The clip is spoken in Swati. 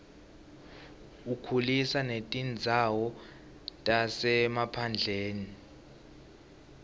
ukhulisa netindzawo tasemaphandleni